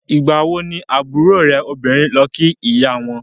Ìgbà wo ni àbúrò ẹ obìnrin lọ kí ìyá wọn?